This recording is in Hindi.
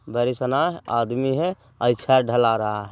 बरी सनाह आदमी है आई छत ढला रहा है।